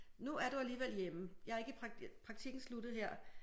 Nu er du alligevel hjemme jeg er ikke i prak praktikken sluttede her